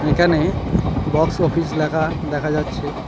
এখানে box office লেখা দেখা যাচ্ছে।